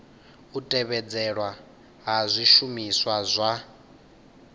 u tevhedzelwa ha zwishumiswa zwa